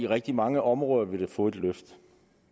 rigtig mange områder vil få et løft